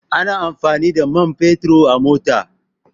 Ana amfani da man fetur a mota